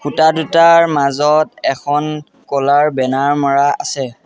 ইটা দুটাৰ মাজত এখন ক'লাৰ বেনাৰ মাৰা আছে।